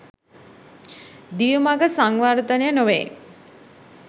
දිවි මඟ සංවර්ධනය නොවෙයි.